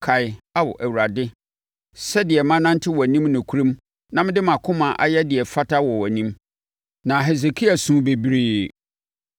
“Kae, Ao, Awurade, sɛdeɛ manante wʼanim nokorɛm na mede mʼakoma ayɛ deɛ ɛfata wɔ wʼanim.” Na Hesekia suu bebree.